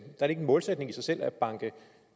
målsætning i sig selv at banke